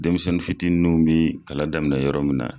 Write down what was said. Denmisɛnnin fitininw bi kalan daminɛ yɔrɔ min na.